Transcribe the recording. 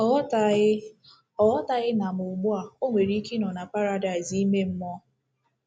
Ọ ghọtaghị Ọ ghọtaghị na ma ugbu a, o nwere ike ịnọ na paradaịs ime mmụọ.